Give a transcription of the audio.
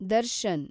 Darshan